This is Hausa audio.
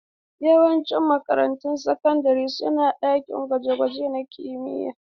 Yawancin makarantun sakandare suna da ɗakin gwaje-gwaje na kimiyya.